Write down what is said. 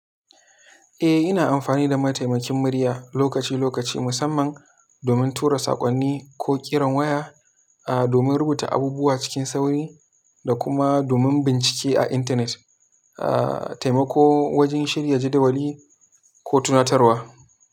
Eh, ina amfani da mataimakin murya lokaci-lokaci, musamman domin tura saƙonni ko ƙiran waya, ah, domin rubuta abubuwa cikin sauri da kuma domin bincike a internet, ah, taimako wajen shirya jadawali ko tunatarwa.